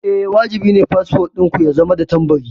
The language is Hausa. Eh, wajibi ne fasfo ɗin ku ya zama da tambari.